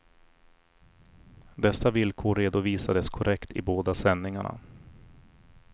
Dessa villkor redovisades korrekt i båda sändningarna.